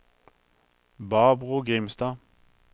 Barbro Grimstad